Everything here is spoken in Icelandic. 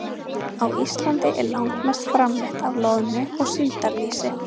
Á Íslandi er langmest framleitt af loðnu- og síldarlýsi.